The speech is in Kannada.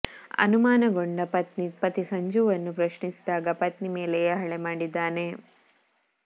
ಅನುಮಾನಗೊಂಡ ಪತ್ನಿ ಪತಿ ಸಂಜುನನ್ನು ಪ್ರಶ್ನಿಸಿದಾಗ ಪತ್ನಿ ಮೇಲೆಯೇ ಹಲ್ಲೆ ಮಾಡಿದ್ದಾನೆ